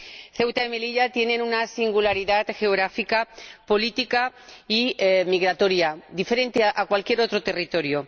Ceuta y Melilla tienen una singularidad geográfica, política y migratoria diferente a cualquier otro territorio.